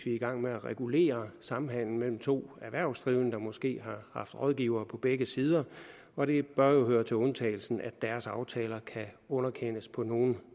i gang med at regulere samhandelen mellem to erhvervsdrivende der måske har haft rådgivere på begge sider og det bør jo høre til undtagelserne at deres aftaler kan underkendes på nogen